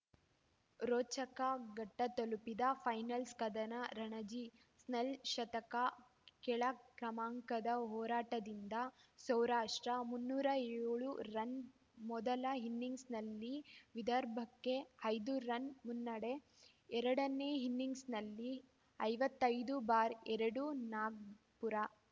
ರೋಚಕ ಘಟ್ಟತಲುಪಿದ ಫೈನಲ್ಸ್ ಕದನ ರಣಜಿ ಸ್ನೆಲ್‌ ಶತಕ ಕೆಳ ಕ್ರಮಾಂಕದ ಹೋರಾಟದಿಂದ ಸೌರಾಷ್ಟ್ರ ಮುನ್ನೂರ ಏಳು ರನ್‌ ಮೊದಲ ಇನ್ನಿಂಗ್ಸಲ್ಲಿ ವಿದರ್ಭಕ್ಕೆ ಐದು ರನ್‌ ಮುನ್ನಡೆ ಎರಡನೇ ಇನ್ನಿಂಗ್ಸ್‌ನಲ್ಲಿ ಐವತ್ತೈ ದು ಬಾರ್ ಎರಡು ನಾಗ್ಪುರ